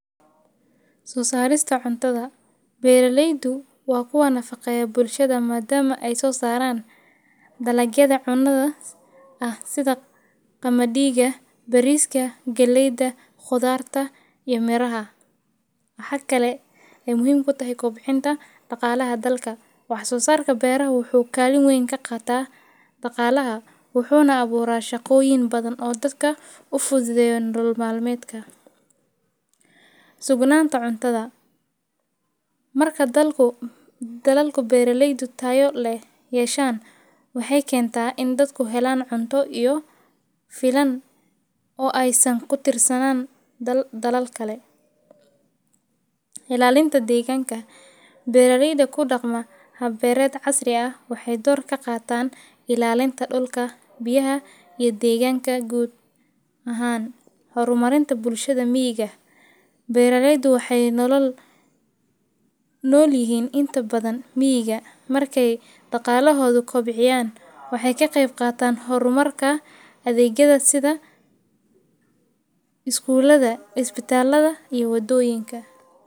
Suusaadista cuntada. Beereleydu waa kuwa nafaqo bulshada maadaama ay soo saaraan dalkeeda cunnada ah sida kamadihiga, bariiska, geleyda, khudaarta iyo maraha. Xagga kale, ay muhiim ku tahay kobcinta dhaqaalaha dalka. Wax soo saarka beerka wuxuu kaalin weyn ka qaataa dhaqaalaha. Wuxuuna abuuraa shakooyin badan oo dadka u fududey dolmaameedka. Sugnaanta cuntada. Marka dalku dalalku beereleydu taayo leh yeesheen, waxay keentaa in dadku helaan cunto iyo filan oo ay san ku tiirsanaan dalal kale. Ilaalinta deegaanka. Beerarida ku dhacma habbeereed casri ah waxay door ka qaataa ilaalinta dhulka, biyaha iyo deegaanka guud ahaan. Horumarinta bulshada miyiga. Beereleydu waxay nolol nool yihiin inta badan miyiga. Markay dhaqaalahoodu kobciyaan, waxay ka qeyb qaataan horumarka adeegyada sida iskuulada, cusbitaalada iyo waddooyinka.